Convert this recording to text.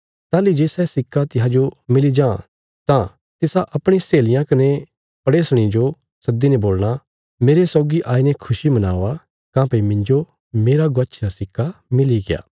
ताहली जे सै सिक्का तिसाजो मिली जां तां तिसा अपणी सहेलियां कने पड़ेसणीं जो सद्दीने बोलणा मेरे सौगी आईने खुशी मनावा काँह्भई मिन्जो मेरा गवाच्छी रा सिक्का मिलीग्या